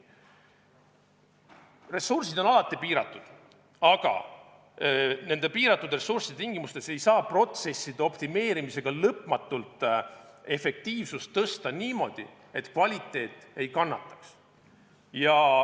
Ressursid on alati piiratud, aga nende piiratud ressursside tingimustes ei saa protsesside optimeerimisega lõpmatult efektiivsust tõsta niimoodi, et kvaliteet ei kannataks.